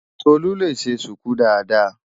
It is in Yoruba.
Tolú lè ṣe ṣùkú dáadáa.